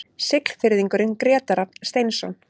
Siglfirðingurinn Grétar Rafn Steinsson